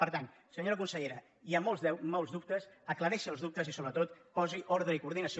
per tant senyora consellera hi ha molts dubtes acla·reixi els dubtes i sobretot posi ordre i coordinació